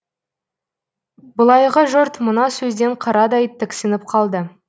былайғы жұрт мына сөзден қарадай тіксініп қалды